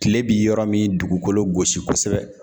Kile bi yɔrɔ min dugukolo gosi kosɛbɛ.